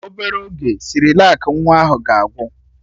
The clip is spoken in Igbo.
Obere oge, Sịrịlak nwa ahụ ga-agwụ